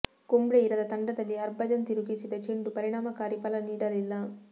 ಕುಂಬ್ಳೆ ಇರದ ತಂಡದಲ್ಲಿ ಹರ್ಭಜನ್ ತಿರುಗಿಸಿದ ಚೆಂಡು ಪರಿಣಾಮಕಾರಿ ಫಲ ನೀಡಲಿಲ್ಲ